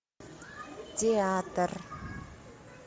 театр